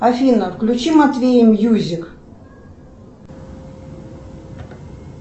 афина включи матвей мьюзик